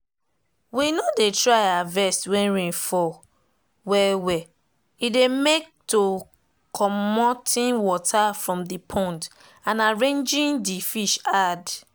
we nodey try harvest when rain fall well well e dey make to comoting water from the pond and arranging the fish hard.